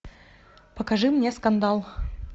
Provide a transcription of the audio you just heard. покажи мне скандал